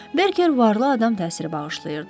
Berker varlı adam təsiri bağışlayırdı.